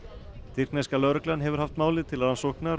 tyrkneska lögreglan hefur haft málið til rannsóknar